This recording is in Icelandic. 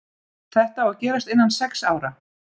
Þetta á að gerast innan sex ára.